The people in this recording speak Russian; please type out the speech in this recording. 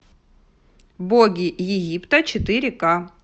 боги египта четыре ка